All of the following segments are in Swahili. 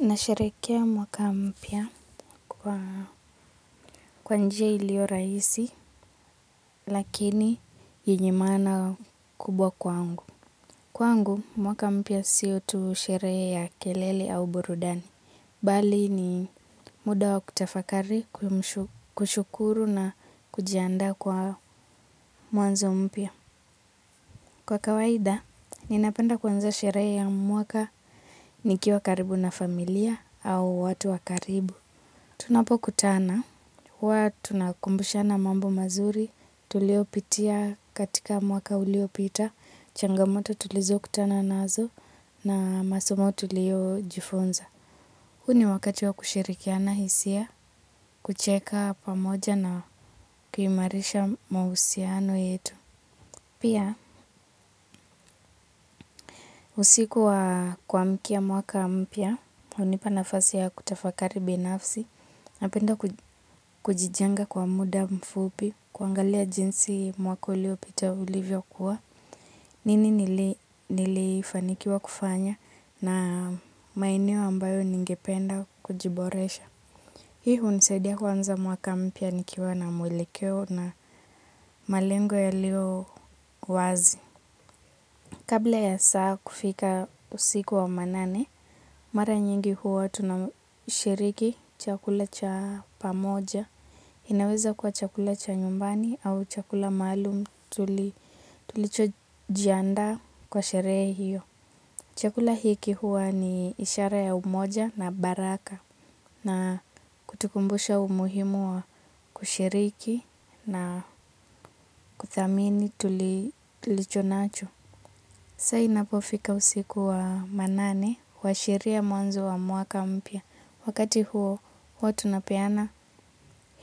Nasherehekea mwaka mpya kwa njia iliyo rahisi, lakini yenye maana kubwa kwangu. Kwangu, mwaka mpya sio tu sherehe ya kelele au burudani. Bali ni muda wa kutafakari, kushukuru na kujiandaa kwa mwanzo mpya. Kwa kawaida, ninapenda kuanza sherehe ya mwaka nikiwa karibu na familia au watu wa karibu. Tunapokutana, huwa tunakumbushana mambo mazuri, tulio pitia katika mwaka ulio pita, changamoto tulizo kutana nazo na masomo tulio jifunza. Huu ni wakati wa kushirikiana hisia, kucheka pamoja na kuimarisha mahusiano yetu. Pia usikuwa kuamikia mwaka mpya, hunipa nafasi ya kutafakari binafsi, napenda kujijenga kwa muda mfupi, kuangalia jinsi mwaka ulio pita ulivyo kuwa, nini nilifanikiwa kufanya na maeneo ambayo ningependa kujiboresha. Hii hunisaidia huanza mwaka mpya nikiwa na mwelekeo na malengo yaliyo wazi. Kabla ya saa kufika usiku wa manane, mara nyingi huwa tunashiriki chakula cha pamoja. Inaweza kuwa chakula cha nyumbani au chakula maalum tulicho jiandaa kwa sherehe hiyo. Chakula hiki huwa ni ishara ya umoja na baraka na kutukumbusha umuhimu wa kushiriki na kuthamini tulicho nacho. Saa i na po fika usiku wa manane hua shiria mwanzo wa mwaka mpya. Wakati huo, huwa tunapeana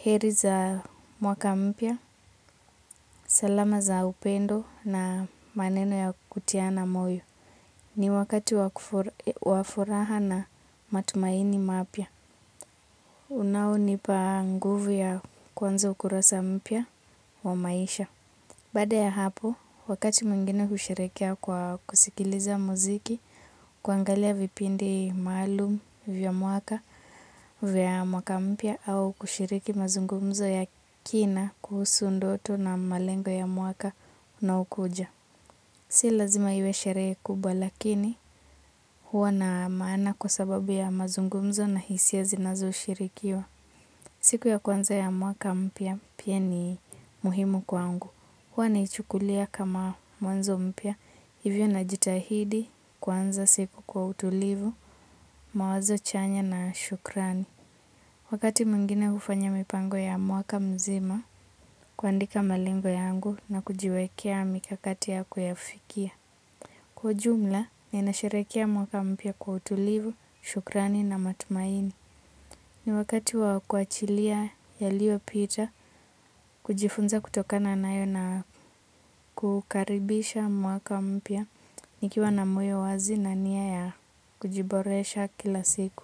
heri za mwaka mpya, salama za upendo na maneno ya kutiana moyo. Ni wakati wa furaha na matumaini mapya. Unao ni pa nguvu ya kuanza ukurasa mpya wa maisha. Baada ya hapo, wakati mwingine hushirikia kwa kusikiliza muziki, kuangalia vipindi maalum vya mwaka, vya mwaka mpya au kushiriki mazungumzo ya kina kuhusu ndoto na malengo ya mwaka na ukuja. Si lazima iwe sherehe kubwa lakini huwa na maana kwa sababu ya mazungumzo na hisia zinazoshirikiwa. Siku ya kwanza ya mwaka mpya pia ni muhimu kwangu. Huwa naichukulia kama mwanzo mpya. Hivyo na jitahidi kuanza siku kwa utulivu, mawazo chanya na shukrani. Wakati mwingine hufanya mipango ya mwaka mzima, kuandika malengo yangu na kujiwekea mikakati ya kuyafikia. Kwa ujumla ninasherehekea mpya kwa utulivu shukrani na matumaini. Ni wakati wa kuachilia yaliyo pita kujifunza kutokana nayo na kukaribisha mwaka mpya nikiwa na moyo wazi na nia ya kujiboresha kila siku.